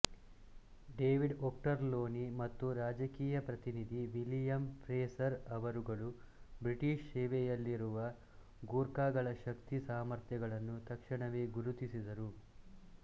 David Ochterlony ಮತ್ತು ರಾಜಕೀಯ ಪ್ರತಿನಿಧಿ ವಿಲಿಯಮ್ ಫ್ರೇಸರ್ ಅವರುಗಳು ಬ್ರಿಟಿಶ್ ಸೇವೆಯಲ್ಲಿರುವ ಗೂರ್ಖಾಗಳ ಶಕ್ತಿ ಸಾಮರ್ಥ್ಯಗಳನ್ನು ತಕ್ಷಣವೇ ಗುರುತಿಸಿದರು